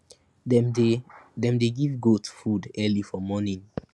dem dey dem dey give goat food early for morning